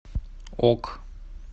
ок